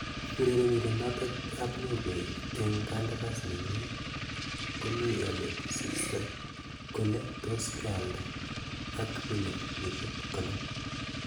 Urerenindet noto ab Norway eng kandaras nanyi komi ole sirst kole tos kealda ak milionisiek 50.